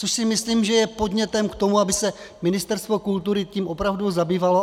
Což si myslím, že je podnětem k tomu, aby se Ministerstvo kultury tím opravdu zabývalo.